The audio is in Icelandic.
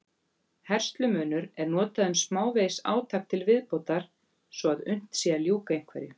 Herslumunur er notað um smávegis átak til viðbótar svo að unnt sé að ljúka einhverju.